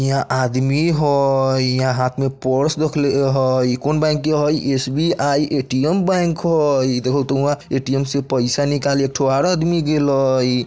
इहाँ आदमी हई इहाँ हाथ में पर्स रखले हई कौन बैंक के हई एस_बी_आइ ए_टी_एम बैंक हई देखउ तो उहाँ ए_टी_एम से पइसा निकाले एकठो आउरु आदमी गेल हई।